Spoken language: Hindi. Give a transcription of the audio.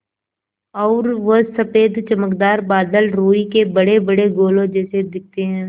और वो सफ़ेद चमकदार बादल रूई के बड़ेबड़े गोलों जैसे दिखते हैं